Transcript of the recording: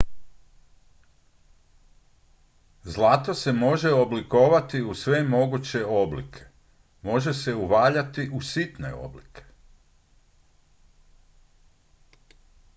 zlato se može oblikovati u sve moguće oblike može se uvaljati u sitne oblike